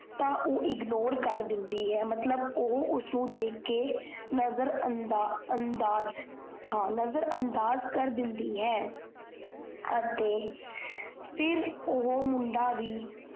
ਤਾਂ ਓਹ ignore ਕਰ ਦਿੰਦੀ ਹੈ ਮਤਲਬ ਓਹੋ ਉਸ ਨੂੰ ਦੇਖ ਕੇ ਨਜਰਾਂਦਾ ਹਾਂ ਨਜਰਾਂਦਾਜ ਕਰ ਦਿੰਦੀ ਹੈ। ਅਤੇ ਅਹ ਫਿਰ ਓਹੋ ਮੁੰਡਾ ਵੀ